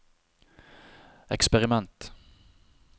eksperiment